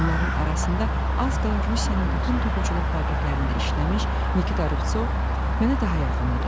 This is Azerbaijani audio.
Onların arasında az qala Rusiyanın bütün toxuculuq fabriklərində işləmiş Nikita Ruvtsov mənə daha yaxın idi.